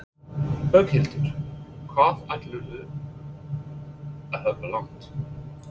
Berghildur: Hvað ætlarðu að hlaupa langt?